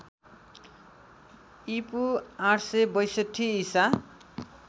ईपू ८६२ ईसा